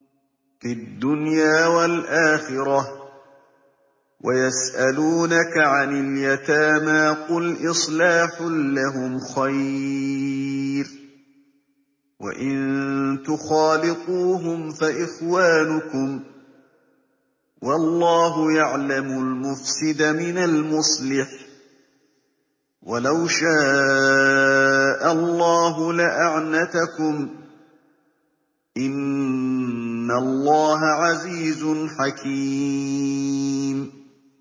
فِي الدُّنْيَا وَالْآخِرَةِ ۗ وَيَسْأَلُونَكَ عَنِ الْيَتَامَىٰ ۖ قُلْ إِصْلَاحٌ لَّهُمْ خَيْرٌ ۖ وَإِن تُخَالِطُوهُمْ فَإِخْوَانُكُمْ ۚ وَاللَّهُ يَعْلَمُ الْمُفْسِدَ مِنَ الْمُصْلِحِ ۚ وَلَوْ شَاءَ اللَّهُ لَأَعْنَتَكُمْ ۚ إِنَّ اللَّهَ عَزِيزٌ حَكِيمٌ